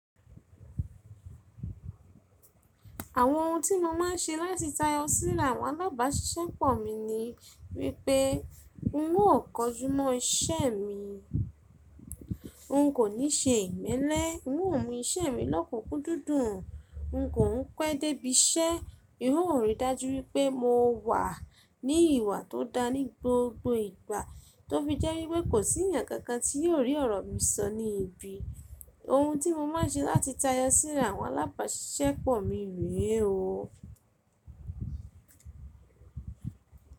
Àwọn ohun tí mo má ń ṣe láti táyọ síra àwọn alábàáṣṣẹ́pọ̀ mi ni wípé n ó kọjú mọ́ iṣẹ́ mi, n kò ní ṣe ìmẹ́lẹ́, n ó mú iṣẹ́ mi lọ́kùnkún dúdúń, n kò ń pẹ́ dé ibi iṣẹ́, N ò rí i dájú wípé mo wà ní ìwà tó da ní gbogbo ìgbà tó fi jẹ́ wípé kò sí ènìyàn kan kan tí yóò rí ọ̀rọ̀ mi sọ ní ibi. Ohun tí mo má ń ṣe láti táyọ síra àwọn alábàáṣṣẹ́pọ̀ mi rè o.